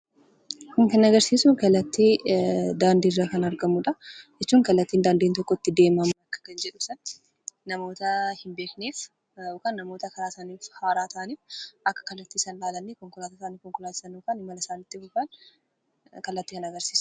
Kun kan agarsiisu kallattii daandiirra kan argamudha jechuun kallattii daandiin tokko itti deemamu ibsa. Namoota karaa hin beekneef, namoota haaraa ta'aniif akka kanaatti qophaayee karaa kan agarsiisudha.